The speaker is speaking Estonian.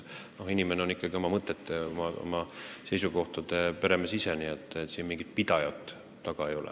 Inimene on ikkagi oma mõtete ja oma seisukohtade peremees, nii et siin mingit pidamist taga ei ole.